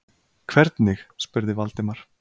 Hvernig? spurði Valdimar.